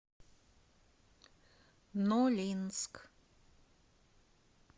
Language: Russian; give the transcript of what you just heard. нолинск